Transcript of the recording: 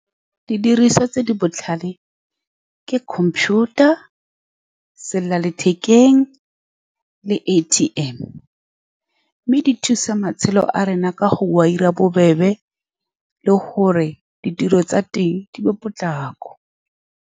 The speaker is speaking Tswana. Didiriswa tse di botlhale ke computer-a, selela lethekeng le A_T_M, mme di thusa matshelo a rona ka go dira bobebe le gore ditiro tsa teng di be potlako.